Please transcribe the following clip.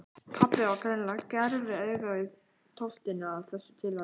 Pabbi er greinilega með gerviaugað í tóftinni af þessu tilefni.